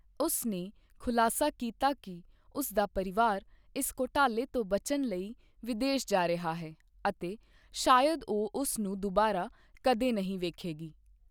ਉਸ ਨੇ ਖੁਲਾਸਾ ਕੀਤਾ ਕਿ ਉਸ ਦਾ ਪਰਿਵਾਰ ਇਸ ਘੁਟਾਲੇ ਤੋਂ ਬਚਣ ਲਈ ਵਿਦੇਸ਼ ਜਾ ਰਿਹਾ ਹੈ ਅਤੇ ਸ਼ਾਇਦ ਉਹ ਉਸ ਨੂੰ ਦੁਬਾਰਾ ਕਦੇ ਨਹੀਂ ਵੇਖੇਗੀ।